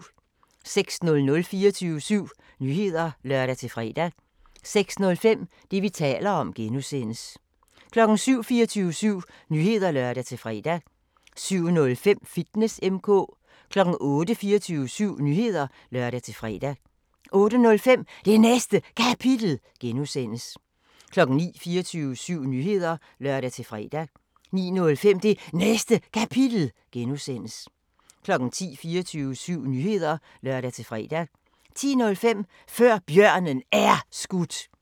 06:00: 24syv Nyheder (lør-fre) 06:05: Det, vi taler om (G) 07:00: 24syv Nyheder (lør-fre) 07:05: Fitness M/K 08:00: 24syv Nyheder (lør-fre) 08:05: Det Næste Kapitel (G) 09:00: 24syv Nyheder (lør-fre) 09:05: Det Næste Kapitel (G) 10:00: 24syv Nyheder (lør-fre) 10:05: Før Bjørnen Er Skudt